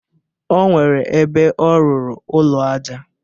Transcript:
O nwere ebe ọ rụrụ ụlọ aja.